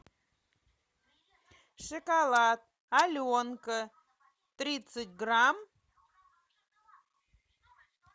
шоколад аленка тридцать грамм